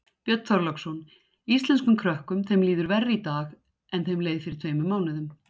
Björn Þorláksson: Íslenskum krökkum þeim líður verr í dag en þeim leið fyrir tveimur mánuðum?